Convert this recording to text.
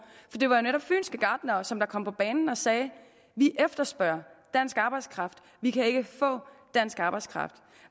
det var jo netop fynske gartnere som kom på banen og sagde vi efterspørger dansk arbejdskraft vi kan ikke få dansk arbejdskraft